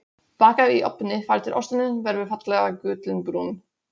Bakað í ofni þar til osturinn verður fallega gullinbrúnn.